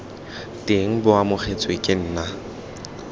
teng bo amogetswe ke nna